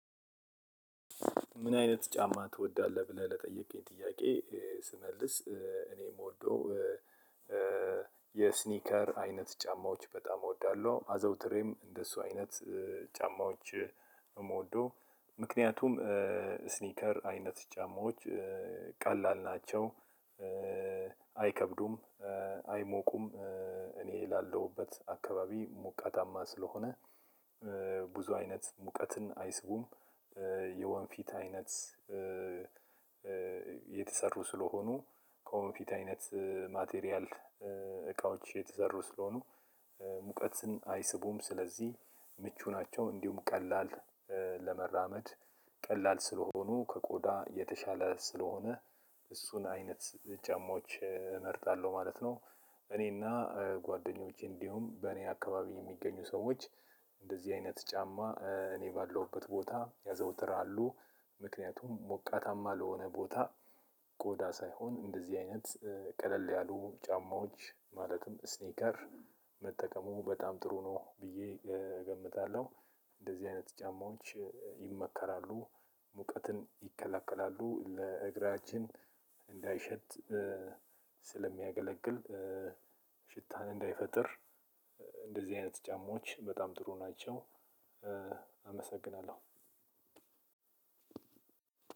ምን አይነት ጫማ ትወዳለህ ብለህ ለጠየቅከኝ ጥያቄ? ስመልስ እኔ የምወደው የስኒከር አይነት ጫማዎች በጣም እወዳለሁ። አዘውትሬም እንደሱ አይነት ጫማዎች እምወደው ምክንያቱም ስኒከር አይነት ጫማዎች ቀላል ናቸው። አይከብዱም አይሞቁም እኔ ላለሁበት አካባቢ ሞቃታማ ስለሆነ ብዙ አይነት ሙቀትን አይስቡም። የወንፊት አይነት የተሰሩ ስለሆኑ ከወንፊት አይነት ማቴሪያል እቃዎች የተዘሩ ስለሆኑ ሙቀትን አይስቡም ስለዚህ ምቹ ናቸው። እንዲሁም ቀላል ለመራመድ ቀላል ስለሆኑ ከቆዳ የተሻለ ስለሆነ እሱን አይነት ጫማዎች እመርጣለሁ ማለት ነው። እኔና ጓደኞቼ እንዲሁም በእኔ አካባቢ የሚገኙ ሰዎች እንደዚህ አይነት ጫማ እኔ ባለሁበት ቦታ ያዘውትር አሉ። ምክንያቱም ሞቃታማ ለሆነ ቦታ ቆዳ ሳይሆን እንደዚህ አይነት ቀለል ያሉ ጫማዎች ማለትም ስኒከር መጠቀሙ በጣም ጥሩ ነው ብዬ እገምታለሁ። እንደዚህ አይነት ጫማዎች ይመከራሉ። ሙቀትን ይከለክላሉ ለእግራችን እንዳይሸት ስለሚያገለግል ሽታን እንዳይፈጥር። እንደዚህ አይነት ጫማዎች በጣም ጥሩ ናቸው። አመሰግናለሁ